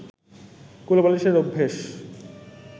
কোলবালিশের অভ্যেস